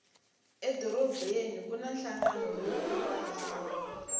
edorobeni kuna hlangana lowukulu wamisava